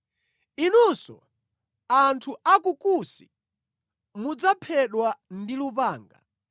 “Inunso anthu a ku Kusi, mudzaphedwa ndi lupanga.”